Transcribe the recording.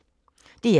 DR1